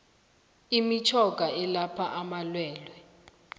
imitjhoga elapha amalwelwe